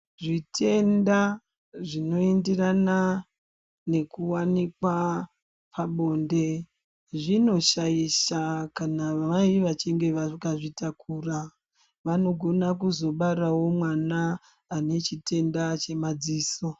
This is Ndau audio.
Zvitenda zvinoenderana nekuwanikwa pabonde zvinoshaisha kana vaye vachinge vakazvitakura vanogona kuzobarawo mwana anechitenda chemadziso.